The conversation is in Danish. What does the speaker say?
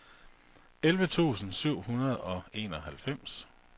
elleve tusind syv hundrede og enoghalvfems